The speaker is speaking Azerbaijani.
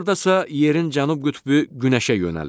Dekabrda isə yerin cənub qütbü günəşə yönəlir.